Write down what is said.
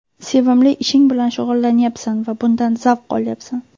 Sevimli ishing bilan shug‘ullanyapsan va bundan zavq olyapsan.